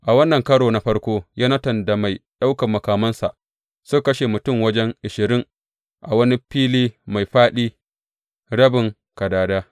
A wannan karo na farko Yonatan da mai ɗaukan makamansa suka kashe mutum wajen ashirin a wani fili mai fāɗi rabin kadada.